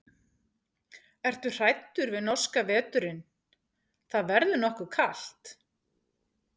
Ertu hræddur við norska veturinn, það verður nokkuð kalt?